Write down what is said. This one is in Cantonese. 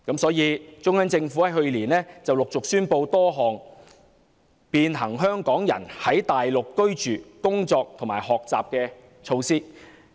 中央自去年陸續宣布多項便行香港人在內地居住、工作和學習的措施"。